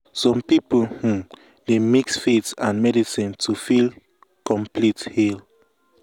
some people um dey mix faith with medicine to feel um complete heal.